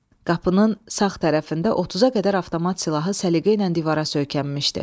Qapının sağ tərəfində 30-a qədər avtomat silahı səliqə ilə divara söykənmişdi.